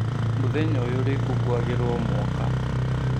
Mũthenya ũyũ ũrĩkũngũagĩrwo o mwaka